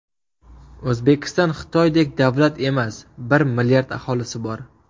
O‘zbekiston Xitoydek davlat emas bir milliard aholisi bor.